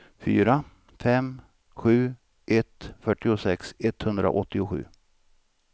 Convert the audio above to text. fyra fem sju ett fyrtiosex etthundraåttiosju